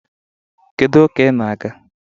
Kedu ụka ị na-aga